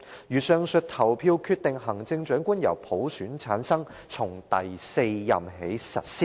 如上述投票決定行政長官由普選產生，從第四任起實施"。